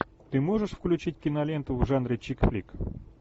ты можешь включить киноленту в жанре чикфлик